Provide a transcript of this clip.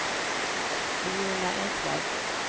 Viola Eklöf